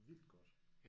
Vildt godt